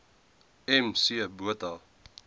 m c botha